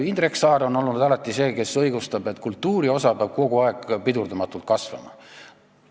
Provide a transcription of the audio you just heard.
Indrek Saar on alati olnud see, kes õigustab seda, et kultuuri osa peab eelarves kogu aeg pidurdamatult kasvama.